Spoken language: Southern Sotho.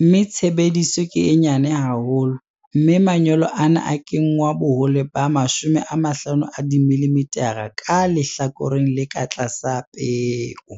mme tshebediso ke e nyane haholo, mme manyolo ana a kenngwa bohole ba 50 dimilimithara ka lehlakoreng le ka tlasa peo.